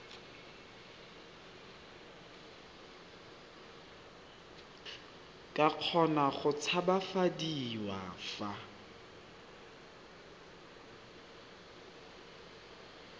ka kgona go tshabafadiwa fa